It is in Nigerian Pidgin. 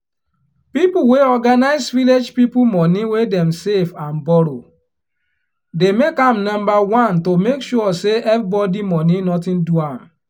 people wey organize village people money wey dem save and borrow dey make am number one to make sure say everybody money nothing do am